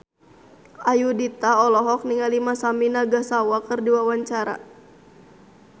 Ayudhita olohok ningali Masami Nagasawa keur diwawancara